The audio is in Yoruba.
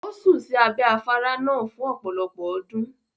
Ó sùn sí abẹ́ afárá náà fún ọ̀pọ̀lọpọ̀ ọdún.